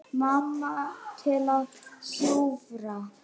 Mamma til að hjúfra.